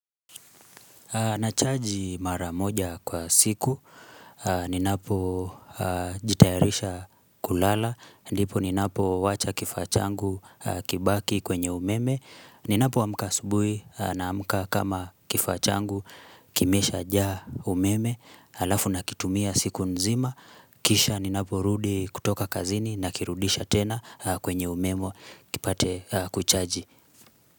Nachaji mara moja kwa siku, ninapo jitayarisha kulala, ndipo ninapo wacha kifaa changu kibaki kwenye umeme, ninapoamka asubuhi naamka kama kifaa changu kimeshajaa umeme, alafu nakitumia siku nzima, kisha ninaporudi kutoka kazini nakirudisha tena kwenye umeme kipate kuchaji.